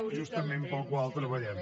justament pel qual treballem